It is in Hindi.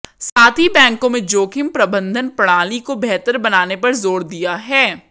साथ ही बैंकों में जोखिम प्रबंधन प्रणाली को बेहतर बनाने पर जोर दिया है